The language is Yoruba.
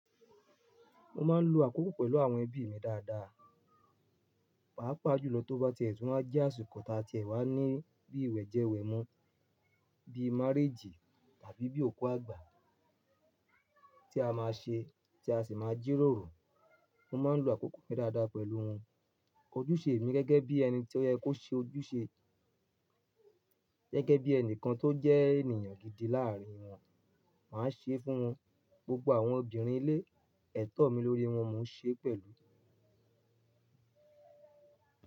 Mo máa ń lo àkókò pẹ̀lú àwọn ẹbí mi dáadáa, pàápàá jùlọ tó bá ti ẹ̀ tùn wá jẹ́ àsìkò tá tí ẹ wá ní bíi ìwẹ̀jẹwẹ̀mu, bíi máréjì tàbí bíi òkú àgbà tí a máa ṣe tí a sì máa jíròrò. Mo máa ń lo àkókò mi dáadáa pẹ̀lú wọn. Ojúṣe mi gẹ́gẹ́ bí ẹni tí ó yẹ kó ṣe ojúṣe, gẹ́gẹ́ bí ẹnìkan tó jẹ́ ènìyàn gidi láàárín wọn, màá ṣe é fún wọn. Gbogbo àwọn obìnrin ilé ẹ̀tọ́ mi lórí wọn mo ń ṣe é pẹ̀lú.